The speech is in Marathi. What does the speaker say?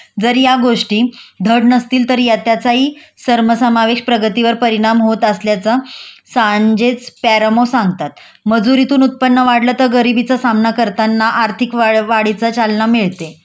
जर या गोष्टी धड नसतील तर या त्याचाही सर्मसमावेश प्रगतीवर परिणाम होत असल्याचा सांजेच पॅरामो सांगतात.मजुरीतून उत्पन्न वाढलं तर गरिबीचं सामना करताना आर्थिक वाढवाढीचा चालना मिळते